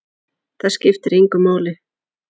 Það skiptir engu máli!